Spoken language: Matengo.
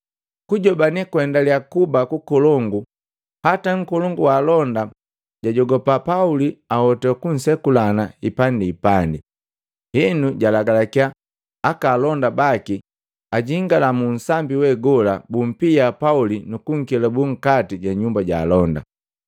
Kujobane kwaendaliya kuba kukolongu hata nkolongu wa alonda jajogapa Pauli ahoto kunsekulana hipandihipandi. Henu jaalagalakiya aka alonda baki ajingala mu sambi we gola, bumpia Pauli nukunkelabu nkati ja nyumba jaalonda.